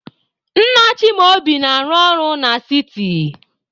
Nna Chimaobi na-arụ ọrụ na siti.